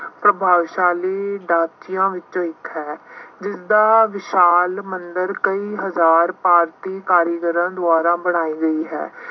ਪ੍ਰਭਾਵਸ਼ਾਲੀ ਦਾਸੀਆਂ ਵਿੱਚੋਂ ਇੱਕ ਹੈ। ਜਿਸਦਾ ਵਿਸ਼ਾਲ ਮੰਦਿਰ ਕਈ ਹਜ਼ਾਰ ਭਾਰਤੀ ਕਾਰੀਗਰਾਂ ਦੁਆਰਾ ਬਣਾਈ ਗਈ ਹੈ।